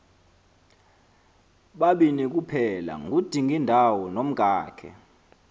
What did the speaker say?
babini kuphelangudingindawo nomkakhe